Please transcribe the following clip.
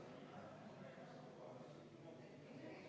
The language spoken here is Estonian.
Eelnõu me ei saa hääletusele panna.